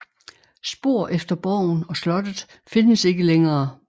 Spor efter borgen og slottet findes ikke længere